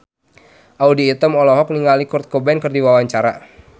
Audy Item olohok ningali Kurt Cobain keur diwawancara